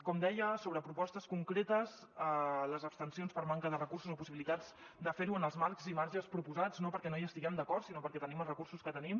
com deia sobre propostes concretes les abstencions per manca de recursos o possibilitats de fer ho en els marcs i marges proposats no perquè no hi estiguem d’acord sinó perquè tenim els recursos que tenim